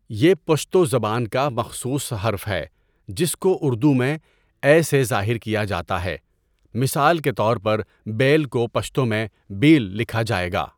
یہ پشتو زبان کا مخصوص حرف ہے جس کو اردو میں اَے سے ظاہر کیا جاتا ہے مثال کے طور پر بَیل کو پشتو میں بېل لکھا جائے گا